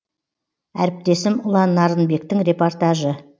әріптесім ұлан нарынбектің репортажы